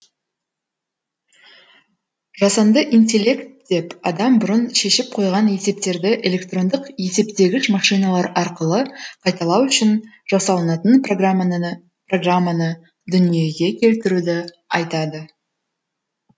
жасанды интеллект деп адам бұрын шешіп қойған есептерді электрондық есептегіш машиналар арқылы қайталау үшін жасалынатын программаны дүниеге келтіруді айтады